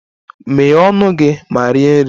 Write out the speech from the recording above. Meghee ọnụ gị ma rie nri!